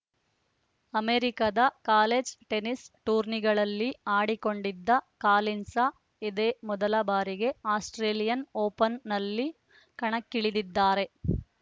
ಅಮೆರಿಕದ college tennis ಟೂರ್ನಿಗಳಲ್ಲಿ ಆಡಿಕೊಂಡಿದ್ದ ಕಾಲಿನ್ಸ್‌ ಇದೇ ಮೊದಲ ಬಾರಿಗೆ ಆಸ್ಪ್ರೇಲಿಯನ್‌ ಓಪನ್‌ನಲ್ಲಿ ಕಣಕ್ಕಿಳಿದಿದ್ದಾರೆ